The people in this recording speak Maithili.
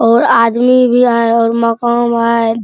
और आदमी भी आय और मकान आय --